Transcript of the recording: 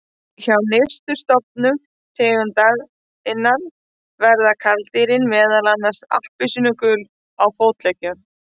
Hjá nyrstu stofnum tegundarinnar verða karldýrin meðal annars appelsínugul á fótleggjum.